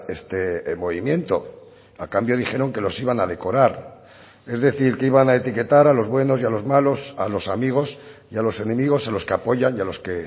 este movimiento a cambio dijeron que los iban a decorar es decir que iban a etiquetar a los buenos y a los malos a los amigos y a los enemigos a los que apoyan y a los que